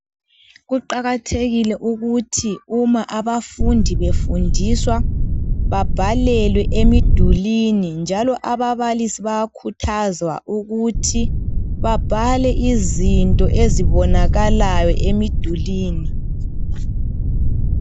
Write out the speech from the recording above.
Kuqakathekile ukuthi uma abafundi befundiswa babhalelwe emidulini njalo ababalisi bayakhuthazwa ukuthi babhale izinto ezibonakalayo emidulini.